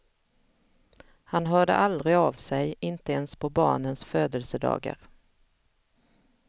Han hörde aldrig av sig, inte ens på barnens födelsedagar.